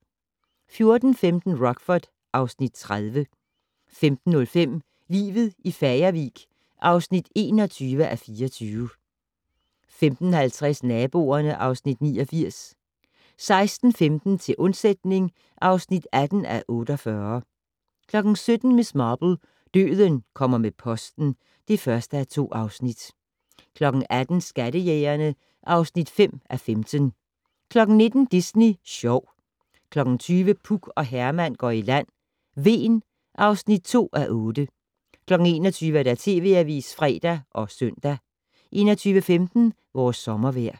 14:15: Rockford (Afs. 30) 15:05: Livet i Fagervik (21:24) 15:50: Naboerne (Afs. 89) 16:15: Til undsætning (18:48) 17:00: Miss Marple: Døden kommer med posten (1:2) 18:00: Skattejægerne (5:15) 19:00: Disney Sjov 20:00: Puk og Herman går i land - Hven (2:8) 21:00: TV Avisen (fre og søn) 21:15: Vores sommervejr